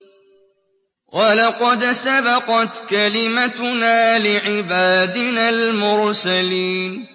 وَلَقَدْ سَبَقَتْ كَلِمَتُنَا لِعِبَادِنَا الْمُرْسَلِينَ